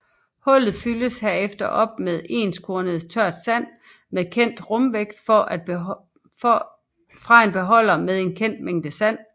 Hullet fyldes herefter op med enskornet tørt sand med kendt rumvægt fra en beholder med en kendt mængde sand